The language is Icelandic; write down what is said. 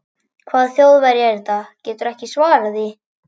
Hvaða Þjóðverji er þetta, geturðu ekki svarað því?